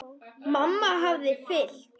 Mamma hafði fylgt